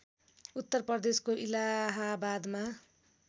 उत्तर प्रदेशको इलाहाबादमा